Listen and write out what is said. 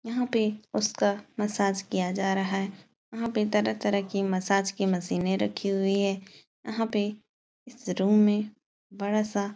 यहाँ पे उसका मसाज किया जा रहा है। यहाँ पे तरह-तरह की मसाज की मशीनें रखी हुई हैं। यहाँ पे इस रूम में बड़ा-सा --